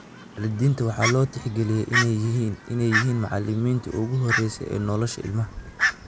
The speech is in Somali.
Waalidiinta waxaa loo tixgeliyaa inay yihiin macallimiintii ugu horreysay ee nolosha ilmaha.